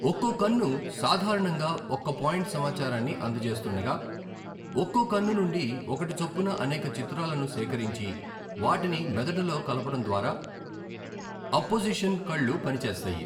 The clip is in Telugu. ఒక్కో కన్ను సాధారణంగా ఒక్క పాయింట్ సమాచారాన్ని అందజేస్తుండగా, ఒక్కో కన్ను నుండి ఒకటి చొప్పున అనేక చిత్రాలను సేకరించి, వాటిని మెదడులో కలపడం ద్వారా అప్పోజిషన్ కళ్ళు పని చేస్తాయి.